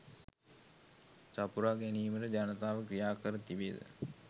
සපුරා ගැනීමට ජනතාව ක්‍රියා කර තිබේද?